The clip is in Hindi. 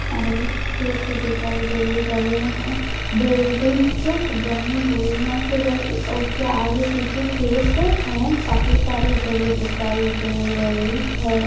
हरे खेत दिखाई दे रहे हे बिल्डिंग्स बनी हुई है फिर उसके आगे पीछे खेत है काफी सारे जगह दिखाई दे रही है।